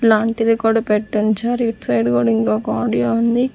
లాంటిది కూడా పెట్టి ఉంచారు ఇటు సైడ్ కూడా ఇంకొక ఆడియో ఉంది.